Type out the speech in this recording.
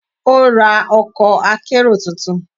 Ó ra ọkọ̀ akérò tuntun.